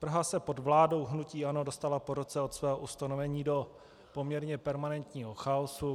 Praha se pod vládou hnutí ANO dostala po roce od svého ustanovení do poměrně permanentního chaosu.